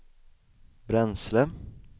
bränsle